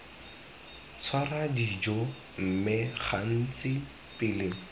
tshwara dijo mme gantsi pele